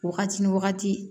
Wagati ni wagati